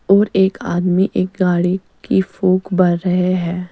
और एक आदमी एक गाड़ी की फुक बार रहे है।